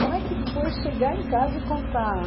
Como é que foi chegar em casa e contar?